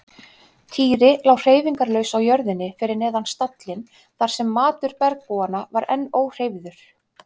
Týri lá hreyfingarlaus á jörðinni fyrir neðan stallinn þar sem matur bergbúanna var enn óhreyfður.